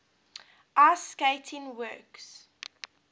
ice skating works